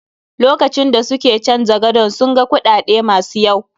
Lokacin da suke canja gadon, sun ga kuɗaɗe ma su yaw.